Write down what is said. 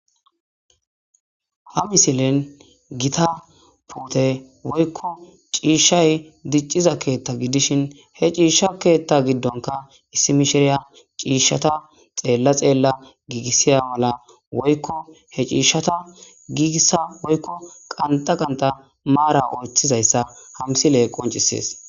Ha misilen gita puteyi woyiko cishayi diciza ketha gidishein he kethayi ssi mishiriya cishsha giigisashe dizayssa qanxxa qanixxa mara oyithidayisa ha misiley qoncisesi